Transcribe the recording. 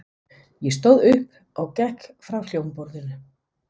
Ég stóð upp og gekk frá hljómborðinu.